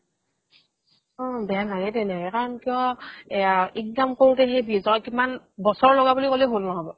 অ বেয়া লাগে তেনেকে কাৰণ কিয় এইয়া income কৰোতে সেই বিশ হাজাৰ তকা কিমান বছৰ লগা বুলি ক'লেও ভুল নহ'ব